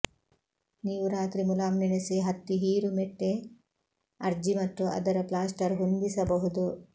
ನೀವು ರಾತ್ರಿ ಮುಲಾಮು ನೆನೆಸಿ ಹತ್ತಿ ಹೀರುಮೆತ್ತೆ ಅರ್ಜಿ ಮತ್ತು ಅದರ ಪ್ಲಾಸ್ಟರ್ ಹೊಂದಿಸಬಹುದು